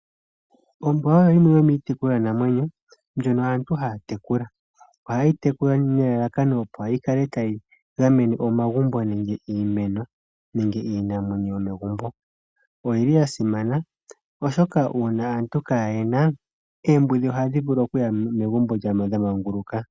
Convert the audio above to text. Ombwa oyo yimwe yomiitekulanamwenyo ndjono aantu ha ya tekula. Oha ye yi tekula nelalakano opo yi kale ta yi gamene omagumbo, iimeno nenge iinamwenyo yomegumbo. Oyi li ya simana oshoka uuna aantu ka ye yi na, oombudhi ohadhi vulu okuya mo megumbo dha manguluka.